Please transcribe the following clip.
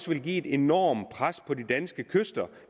ville give et enormt pres på de danske kyster